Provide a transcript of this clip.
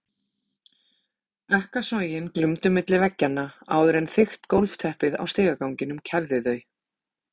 Ekkasogin glumdu milli veggjanna áður en þykkt gólfteppið á stigaganginum kæfði þau.